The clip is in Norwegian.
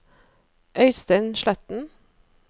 Øystein Sletten